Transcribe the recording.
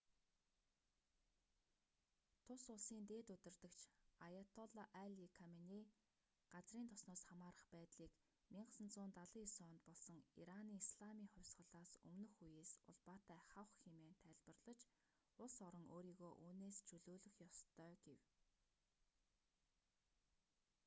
тус улсын дээд удирдагч аяатолла али каменей газрын тосноос хамаарах байдлыг 1979 онд болсон ираны исламын хувьсгалаас өмнөх үеэс улбаатай хавх хэмээн тайлбарлаж улс орон өөрийгөө үүнээс чөлөөлөх ёстой гэв